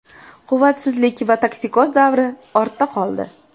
Quvvatsizlik va toksikoz davri ortda qoldi.